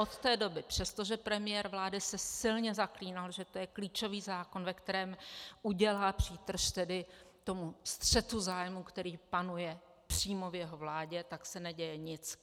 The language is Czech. Od té doby, přestože premiér vlády se silně zaklínal, že to je klíčový zákon, ve kterém udělá přítrž tedy tomu střetu zájmů, který panuje přímo v jeho vládě, tak se neděje nic.